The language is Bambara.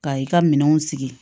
Ka i ka minɛnw sigi